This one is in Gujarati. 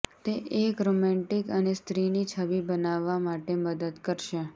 તે એક રોમેન્ટિક અને સ્ત્રીની છબી બનાવવા માટે મદદ કરશે